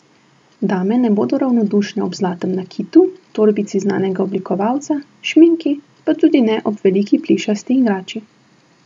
Dame ne bodo ravnodušne ob zlatem nakitu, torbici znanega oblikovalca, šminki pa tudi ne ob veliki plišasti igrači.